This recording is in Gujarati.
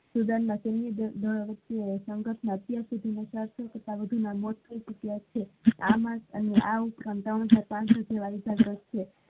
student માં આવા સંઘર્ષ માં અત્યાર સુધી માં આવા મોટો ઇતિહાસ છે આ રીતે ચાલે છે.